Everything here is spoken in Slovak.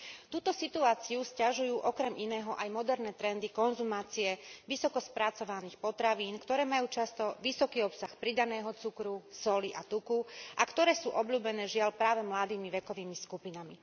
Túto situáciu sťažujú okrem iného aj moderné trendy konzumácie vysokospracovaných potravín, ktoré majú často vysoký obsah pridaného cukru, soli a tuku a ktoré sú obľúbené, žiaľ, práve mladými vekovými skupinami.